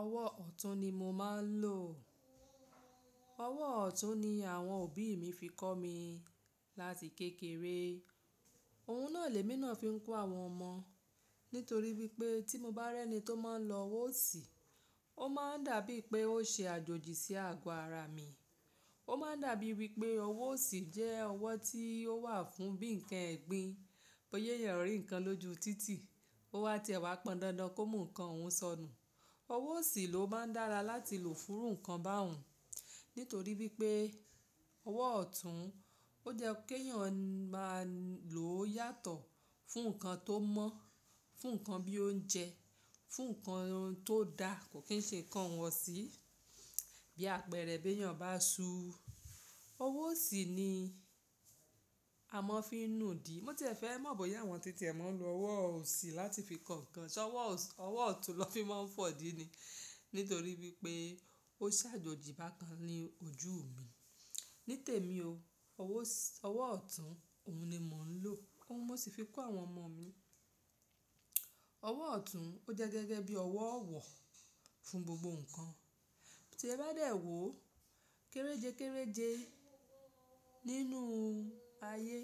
Ọwọ́ ọ̀tún ni mo máa ń lò. Ọwọ́ ọ̀tún ni àwọn òbí mi fi kọ́ mi láti kékeré. Òun náà lè mi náà fi ń kọ́ àwọn ọmọ nítorí wípé tí mo bá rí ẹni tó máa ń lo ọwọ́ òsì, ó máa ń dàbí pé ó ṣe àjòjì sí àgọ́ ara mi. Ó máa ń dàbí wípé ọwọ́ òsì jẹ́ ọwọ́ tí ó wà fún bí ǹkan ẹ̀gbin, bóyá èèyàn rí ǹkan lójú títì. Ó wá ti ẹ̀ wá pọn dandan kó mú ǹkan ọ̀un sọnù. Ọwọ́ òsì ló máa ń dára láti lò fún irú ǹkan bá ùn. Nítorí wípé ọwọ́ ọ̀tún ó jẹ́ kí èèyàn máa lò ó yàtọ̀ fún ǹkan tó mọ́, fún ǹkan bí ó ń jẹ, fún ǹkan tó da kò kín ṣe ǹkan iwọ̀sí. Bí àpẹẹrẹ bí èèyàn bá súú, ọwọ́ òsì ni a máa ń fi ń nu di. Mo ti fẹ́ mọ̀ bóyá àwọn títì ẹ máa ń lo ọwọ́ òsì láti fi kọ ǹkan. Ṣé ọwọ́ ọ̀tún lọ fi máa ń fọ́ díni? Nítorí wípé ó ṣàjòjì bákan ní ojú mi. Ní tèmi o, ọwọ́ ọ̀tún òun ni mò ń lò. Óun mo sì fi kọ́ àwọn ọmọ mi. Ọwọ́ ọ̀tún ó jẹ́ gẹ́gẹ́ bí ọwọ́ ọ̀wọ̀ fún gbogbo ǹkan. Tí ẹ bá dẹ̀ wò kéréjekérèje nínú ayé,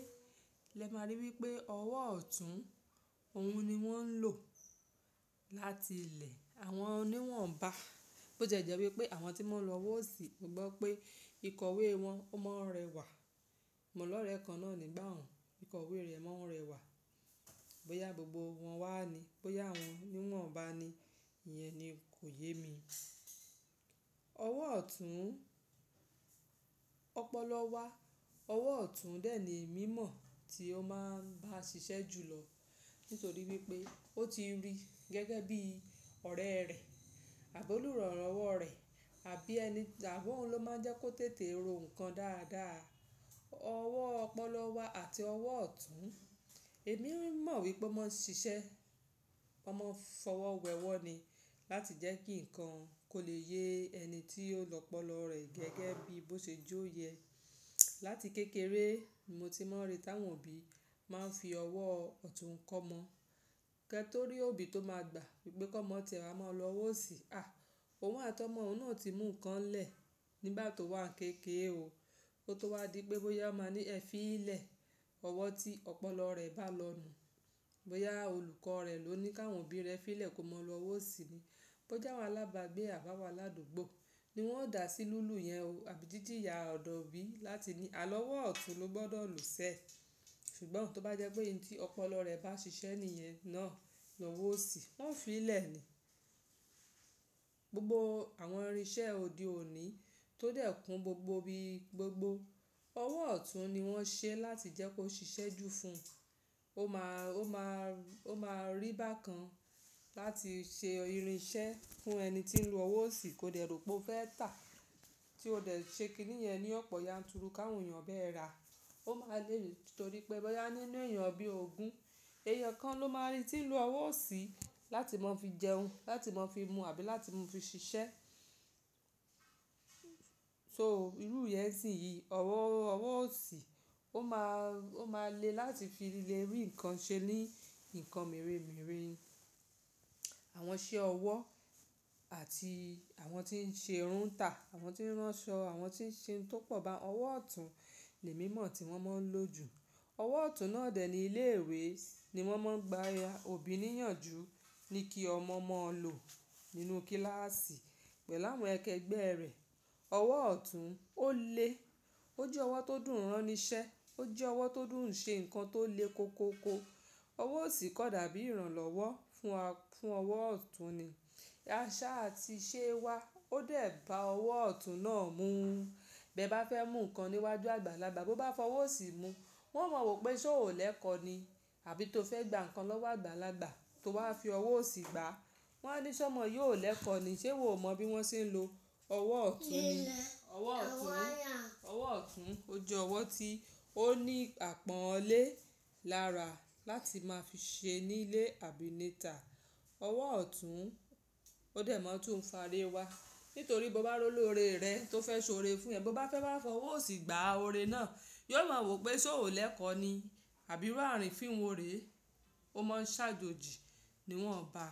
lẹ máa ríi wípé ọwọ́ ọ̀tún òun ni wọ́n ń lò láti ilẹ̀ àwọn oní wọ̀nba. Bó tiẹ́ jẹ́ wípé àwọn tí wọn ń lo ọwọ́ òsì, mo gbọ́ pé ìkọ̀wé wọn ó máa ń rẹwà. Mo lọ́rẹ kan náà ni bá un, ìkọ̀wé rẹ̀ máa ń rẹwà. Bóyá gbogbo wọn wá ni, bóyá àwọn níwọ̀nba ni, ìyẹn ni kò yé mi. Ọwọ́ ọ̀tún, ọpọlọ wá, ọwọ́ ọ̀tún dẹ̀ ní emi mọ̀ tí ó máa ń bá ṣiṣẹ́ jù lọ. Nítorí wípé ó ti rí gẹ́gẹ́ bí ọ̀rẹ́ rẹ̀, àbi olùrànlọwọ rẹ̀ àbí ẹni, àbi oun ló máa ń jẹ́ kó tètè ro ǹkan dáadáa. Ọwọ́ ọpọlọ wá àti ọwọ́ ọ̀tún, èmi mọ̀ wípé wọ́n máa ń ṣiṣẹ́, wọ́n máa ń fọwọ́ wẹ ọwọ́ ni láti jẹ́ kí ǹkan kó lè ye ẹni tí ó lọ́pọ̀lọ́ rẹ̀ gẹ́gẹ́ bí bó ṣe jó yẹ. Láti kékeré, ni mo ti máa ń rí táwọn òbí máa ń fi ọwọ́ ọ̀tún kọ́ ọmọ. Kẹ́ tórí òbí tó máa gbà wípé kọ́mọ tẹ̀ à máa lo ọwọ́ òsì. À, òun àtọ̀'ọ̀mọ ọ̀un náà ti mú ǹkan lẹ nígbà tó wà kéékèè o. Kó tó wá di pé bóyá máa ní ẹ fí ìlẹ̀ ọwọ́ tí ọpọlọ rẹ̀ bá lọ nù. Bóyá olùkọ́ rẹ̀ ló ní kí àwọn òbí rẹ̀ fí ìlẹ̀ kó máa lo ọwọ́ òsì ni. Bóyá àwọn alábàágbé àbáwọlá àdúgbò ni wọ́n dà sí lùlù yẹn o, àbí jíjíya ọ̀dọ̀ obí láti ní àlọ́wọ́ ọ̀tún ló gbọ́dọ̀ lò ṣe. Ṣùgbọ́n tó bá jẹ́ pé ohun tí ọpọlọ rẹ̀ bá ṣiṣẹ́ nìyẹn náà, ni òwọ́ òsì, wọ́n ó fi í lẹ̀ ni. Gbogbo àwọn irinṣẹ́ òde òní tó dẹ̀ kun gbogbo ibi gbogbo, ọwọ́ ọ̀tún ni wọ́n ṣe láti jẹ́ kó ṣiṣẹ́ jù fún un. Ó máa rí bákan láti ṣe irinṣẹ́ fún ẹni tí ń lo ọwọ́ òsì kó dẹ̀ rò pé ó fẹ́ tà tí ó dẹ̀ ṣe kì íníyẹn ní ọ̀pọ̀ yanturu ká wọn èèyàn bá ẹ ra. Ó máa le rí nítorí pé bóyá nínú èèyàn bí ògún, èèyàn kan ló máa rí tí ń lo ọwọ́ òsì láti máa fi jẹun, láti máa fi mu àbí láti mú fi ṣiṣẹ́. So irú ìyẹ́sìn yìí, ọwọ́ òsì, o máà ó máa le láti fi líle rí ǹkan ṣe ní ǹkan mère mère. Àwọn iṣẹ́ ọwọ́ àti àwọn tí ń ṣe irun tà, àwọn tí ń ránṣọ, àwọn tí ń ṣe ń tó pọ̀ bá ọwọ́ ọ̀tún ni mímọ̀ tí wọ́n máa ń lò ju. Ọwọ́ ọ̀tún náà dẹ̀ní ilé ìwé ni wọ́n máa ń gba ọbí níyànjú ní kí ọmọ máa lò nínú kíláàsì pẹ̀lú àwọn akẹgbẹ́ rẹ̀. Ọwọ́ ọ̀tún ó lé, ó jẹ́ ọwọ́ tó dùn ráni ṣẹ́, ó jẹ́ ọwọ́ tó dùn ṣe ǹkan tó le koko ko. Ọwọ́ òsì kan dàbí ìrànlọ́wọ́ fún ọwọ́ ọ̀tún ni. Àṣà àti ìṣe wa ó dẹ̀ bá ọwọ́ ọ̀tún náà mú. Bí ẹ bá fẹ́ mú ǹkan níwájú àgbàlagbà bó bá fọwọ́ òsì mú, wọn o mọ wípé ṣé o lẹ́ẹ̀kọ̀ ni. Àbí tó fẹ́ gba ǹkan lọ́wọ́ àgbàlagbà tó wá fi ọwọ́ òsì gbá, wọn á ní ṣé ọmọ yi ò lẹ́ẹ̀kọ̀ ni ṣé o ò mọ bí wọ́n ṣe ń lo ọwọ́ ọ̀tún ni. Ọwọ́ ọ̀tún, ọwọ́ ọ̀tún ó jẹ́ ọwọ́ tí ó ní àpọ́nlé lára láti máa fi ṣe nílé àbí ní ìta. Ọwọ́ ọ̀tún ó dẹ̀ máa tún ń fàárè wa. Nítorí bó bá róló ore rẹ tó fẹ́ ṣó ore fún ẹ, bó bá fẹ́ bá fọwọ́ òsì gbá ore náà, yi ò mọ wípé ṣé o lẹ́ẹ̀kọ̀ ni àbí irú arìnfin wo re. Ó máa ń ṣàjòjì ni wọ́n bá.